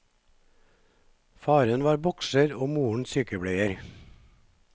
Faren var bokser og moren sykepleier.